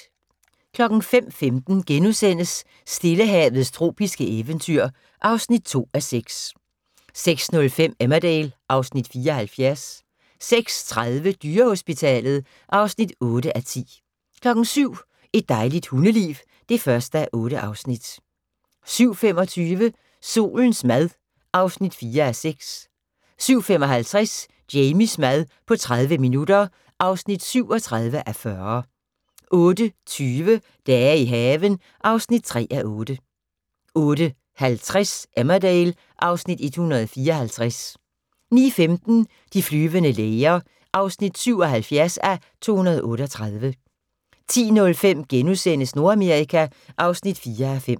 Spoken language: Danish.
05:15: Stillehavets tropiske eventyr (2:6)* 06:05: Emmerdale (Afs. 74) 06:30: Dyrehospitalet (8:10) 07:00: Et dejligt hundeliv (1:8) 07:25: Solens mad (4:6) 07:55: Jamies mad på 30 minutter (37:40) 08:20: Dage i haven (3:8) 08:50: Emmerdale (Afs. 154) 09:15: De flyvende læger (77:238) 10:05: Nordamerika (4:5)*